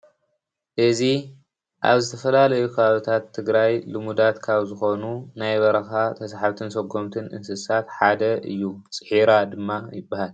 እዚ ኣብ ዝተፈላለዩ ኸባቢታት ትግራይ ልሙዳት ካብ ዝኮኑ ናይ በረኻ ተሳሓብትን ሰጎምትን እንስሳት ሓደ እዩ፡፡ ፂሒራ ድማ ይበሃል፡፡